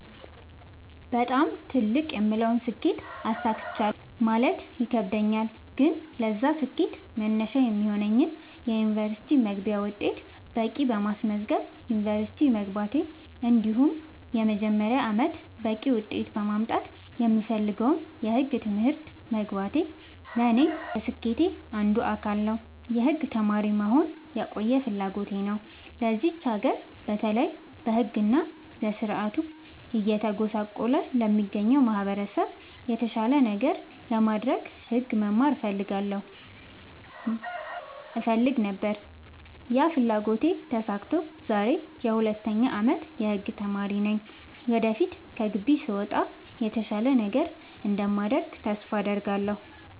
በጣም ትልቅ የምለውን ስኬት አሳክቻለሁ ማለት ይከብደኛል። ግን ለዛ ስኬት መነሻ የሚሆነኝን የ ዩኒቨርስቲ መግቢያ ውጤት በቂ በማስመዝገብ ዩንቨርስቲ መግባቴ እንዲሁም የመጀመሪያ አመቴን በቂ ውጤት በማምጣት የምፈልገውን የህግ ትምህርት መግባቴ ለኔ የስኬቴ አንዱ አካል ነው። የህግ ተማሪ መሆን የቆየ ፍላጎቴ ነው ለዚች ሀገር በተለይ በህግ እና በስርዓቱ እየተጎሳቆለ ለሚገኘው ማህበረሰብ የተሻለ ነገር ለማድረግ ህግ መማር እፈልግ ነበር ያ ፍላጎቴ ተሳክቶ ዛሬ የ 2ኛ አመት የህግ ተማሪ ነኝ ወደፊት ከግቢ ስወጣ የተሻለ ነገር እንደማደርግ ተስፋ አድርጋለሁ።